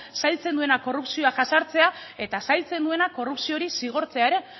zailtzen duena korrupzioa jazartzea eta zailtzen duena korrupzio hori zigortzea ere